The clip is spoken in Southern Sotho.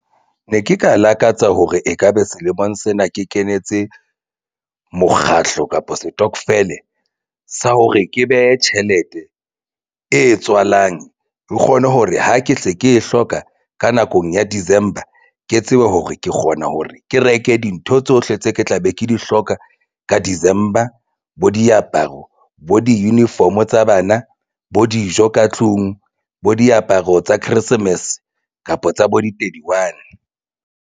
Ne ke ka lakatsa hore ekabe selemong sena ke kenetse mokgahlo kapa setokofele sa hore ke behe tjhelete e tswalang. E kgone hore ha ke se ke e hloka. Ka nakong ya December ke tsebe hore ke kgona hore ke reke dintho tsohle tse ke tla be ke di hloka ka December. Bo diaparo bo di-uniform tsa bana bo dijo ka tlung bo diaparo tsa Christmas kapa tsa bo di thirty-one.